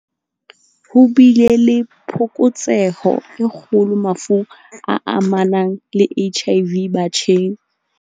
Ho bile le phokotseho e kgolo mafung a amanang le HIV batjheng.